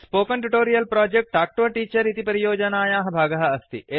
spoken tutorial project talk to a teacher इति परियोजनायाः भागः अस्ति